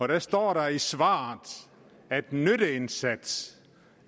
der står i svaret at nytteindsats